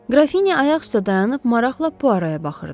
Qrafinya ayaq üstə dayanıb maraqla Puaroya baxırdı.